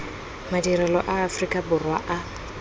madirelo a aforika borwa a